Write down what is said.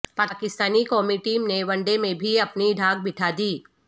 پاکستانی قومی ٹیم نے one day میں بھی اپنی دھاک بٹھا دی